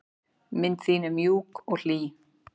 Mund þín er mjúk og hlý.